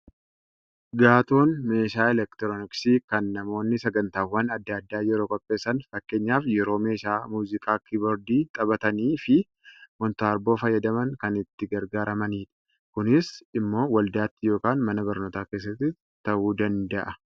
Gaaton meeshaa elektirooniksii kan namoonni sagantaawwan adda addaa yeroo qopheessan, fakkeenyaaf yeroo meeshaa muuziqaa kiiboordii taphatanii fi moontaarboo fayyadaman kan itti gargaaramanidha. Kunis immoo waldaatti yookaan mana barnootaa keessatti ta'uu danda'a.